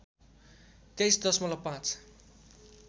२३ दशमलब ५